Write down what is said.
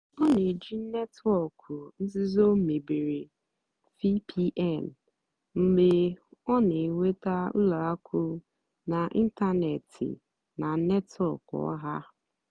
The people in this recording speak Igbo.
ọ́ nà-èjì nétwọ́ọ̀kụ́ nzìzó mébéré (vpn) mgbe ọ́ nà-ènwètá ùlọ àkụ́ n'ị́ntánètị́ nà nétwọ́kụ̀ ọ́hà.